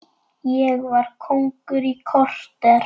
Ég var kóngur í korter.